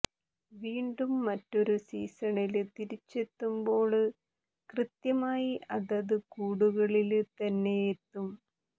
വീണ്ടും മറ്റൊരു സീസണില് തിരിച്ചെത്തുമ്പോള് കൃത്യമായി അതാത് കൂടുകളില് തന്നെയെത്തും